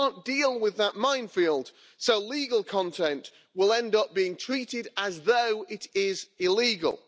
You can't deal with that minefield, so legal content will end up being treated as though it is illegal.